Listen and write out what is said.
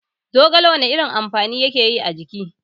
Zogale wana irin amfani yake a jiki?